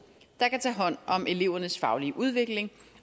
der kan tage hånd om elevernes faglige udvikling